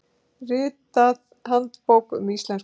Ritið Handbók um íslensku.